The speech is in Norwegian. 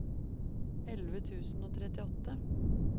elleve tusen og trettiåtte